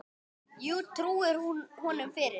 Já, trúir hún honum fyrir.